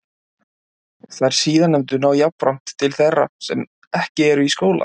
Þær síðarnefndu ná jafnframt til þeirra sem ekki eru í skóla.